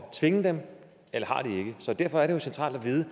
at tvinge dem eller har den ikke så derfor er det jo centralt at vide